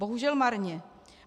Bohužel marně.